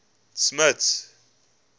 smuts